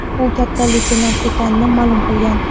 u katta leytenant ekanini ma’lum qilgan.